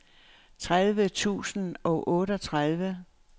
tredive tusind og otteogtredive